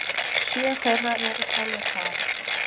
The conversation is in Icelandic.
Sjö þeirra eru frá Litháen.